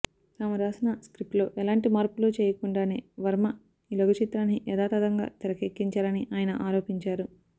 తాను రాసిన స్క్రిప్ట్లో ఎలాంటి మార్పులు చేయకుండానే వర్మ ఈ లఘుచిత్రాన్ని యాథాతథంగా తెరకెక్కించారని ఆయన ఆరోపించారు